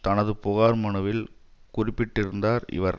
தனது புகார் மனுவில் குறிப்பிட்டிருந்தார் இவர்